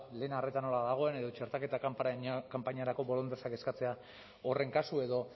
lehen arreta nola dagoen edo txertaketa kanpainarako bolondresak eskatzea da horren kasua edo